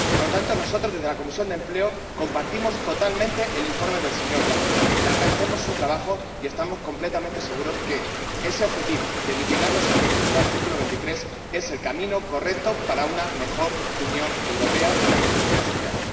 Por lo tanto, nosotros, desde la Comisión de Empleo, compartimos totalmente el informe del señor Blanco, le agradecemos su trabajo y estamos completamente seguros de que ese objetivo de mitigar los efectos del artículo 23 es el camino correcto para una mejor Unión Europea, una mejor unión social.